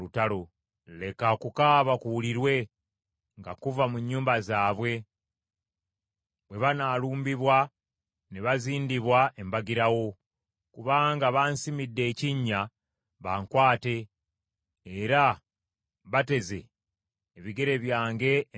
Leka okukaaba kuwulirwe nga kuva mu nnyumba zaabwe, bwe banaalumbibwa ne bazindibwa embagirawo, kubanga bansimidde ekinnya bankwate era bateze ebigere byange emitego.